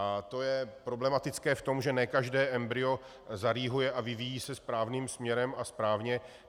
A to je problematické v tom, že ne každé embryo zarýhuje a vyvíjí se správným směrem a správně.